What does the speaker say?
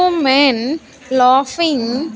Two men laughing --